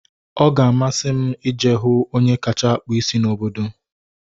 Ọ ga-amasị m ije hụ onye kacha akpụ isi n'obodo